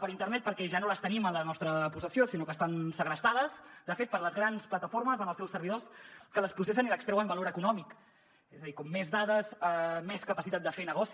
per internet perquè ja no les tenim en la nostra possessió sinó que estan segrestades de fet per les grans plataformes en els seus servidors que les processen i n’extreuen valor econòmic és a dir com més dades més capacitat de fer negoci